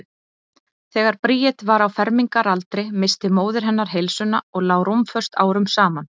Þegar Bríet var á fermingaraldri missti móðir hennar heilsuna og lá rúmföst árum saman.